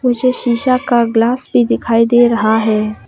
मुझे शीशा का ग्लास भी दिखाई दे रहा है।